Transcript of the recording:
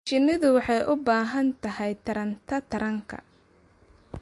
Shinnidu waxay u baahan tahay taranta taranka.